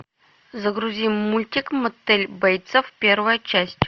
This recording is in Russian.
загрузи мультик мотель бейтсов первая часть